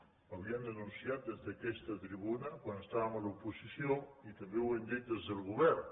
l’havíem denunciat des d’aquesta tribuna quan estàvem a l’oposició i també ho hem dit des del govern